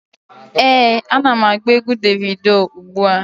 Ee, ana m agba egwu Devido ugbu a.